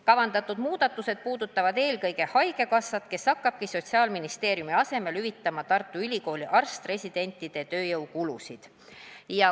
Kavandatud muudatused puudutavad eelkõige haigekassat, kes hakkabki Sotsiaalministeeriumi asemel hüvitama Tartu Ülikooli arst-residentide tööjõukulusid.